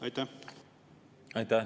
Aitäh!